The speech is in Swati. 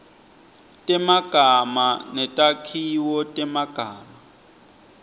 temagama netakhiwo temagama